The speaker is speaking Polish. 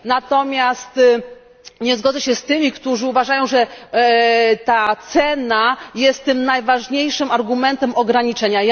Natomiast nie zgodzę się z tymi, którzy uważają, że to cena jest najważniejszym argumentem ograniczenia.